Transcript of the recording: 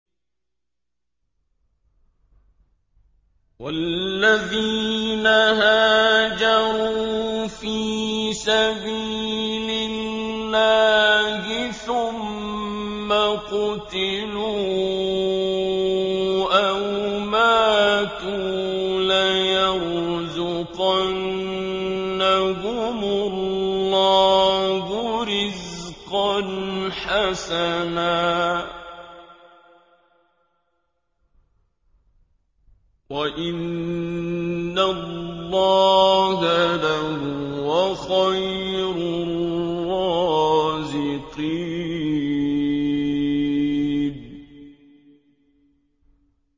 وَالَّذِينَ هَاجَرُوا فِي سَبِيلِ اللَّهِ ثُمَّ قُتِلُوا أَوْ مَاتُوا لَيَرْزُقَنَّهُمُ اللَّهُ رِزْقًا حَسَنًا ۚ وَإِنَّ اللَّهَ لَهُوَ خَيْرُ الرَّازِقِينَ